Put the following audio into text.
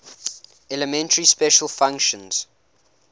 elementary special functions